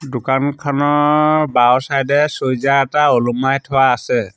দোকানখনৰ বাওঁ চাইডে চুইজা এটা ওলোমাই থোৱা আছে।